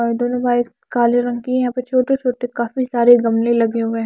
और दोनों बाइक काले रंग की यहां पे छोटे-छोटे काफी सारे गमले लगे हुए हैं।